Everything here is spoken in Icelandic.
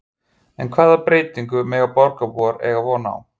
En hvaða breytingum mega borgarbúar eiga von á?